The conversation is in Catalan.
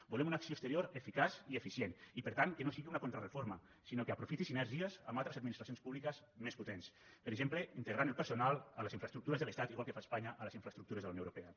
volem una acció exterior eficaç i eficient i per tant que no sigui una contrareforma sinó que aprofiti sinergies amb altres administracions públiques més potents per exemple integrant el personal a les infraestructures de l’estat igual que fa espanya a les infraestructures de la unió europea